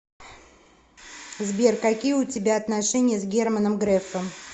сбер какие у тебя отношения с германом грефом